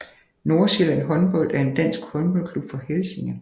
Nordsjælland Håndbold er en dansk håndboldklub fra Helsinge